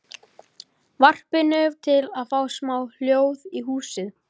varpinu, til að fá smá hljóð í húsið.